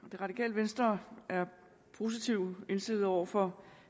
venstre er positivt indstillet over for